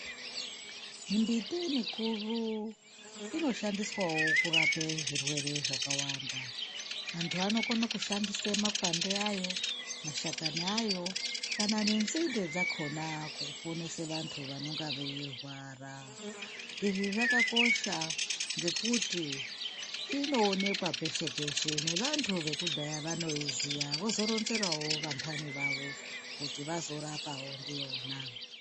Mimbiti mikuru inoshandiswawo kurape zvirwere zvakawanda antu anokone kushandise makwande ayo, mashakani ayo kana nenzinde dzakona kuponese vantu vanenge veirwara izvi zvakakosha ngekuti inoonekwa peshe peshe nevantu vekudhaya vanoiziya vozoronzerawo vantani vavo kuti vazorapawo ndiyona.